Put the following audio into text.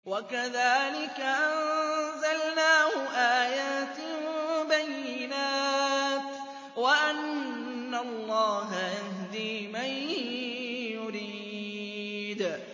وَكَذَٰلِكَ أَنزَلْنَاهُ آيَاتٍ بَيِّنَاتٍ وَأَنَّ اللَّهَ يَهْدِي مَن يُرِيدُ